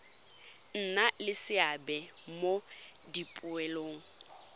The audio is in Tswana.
nna le seabe mo dipoelong